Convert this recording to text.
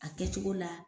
A kɛcogo la